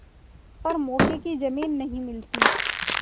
पर मौके की जमीन नहीं मिलती